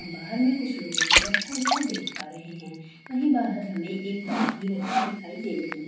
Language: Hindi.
बाहर में कुछ लोगों को बैठा हुआ देख पा रहे हैं वहीं बाहर हमें एक बाइक भी रखी दिखाई दे रही --